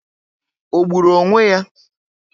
Ọ gburu onwe ya?